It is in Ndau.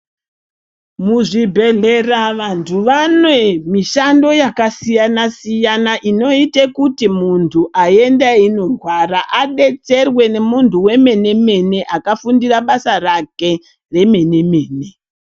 Muzvibhedlera vantu vanemishando yakasiyana siyana, inoite kuti muntu aenda eyirwara adetserwe nemuntu wemene mene akafundira basa rake remene mene.